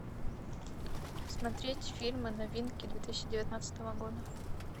смотреть фильмы новинки две тысячи девятнадцатого года